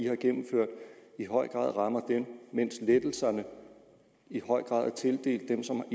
har gennemført i høj grad rammer dem mens lettelserne i høj grad er tildelt dem som